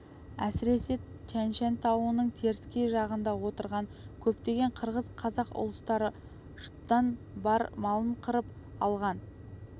әсіресе тянь-шань тауының теріскей жағында отырған көптеген қырғыз қазақ ұлыстары жұттан бар малын қырып алған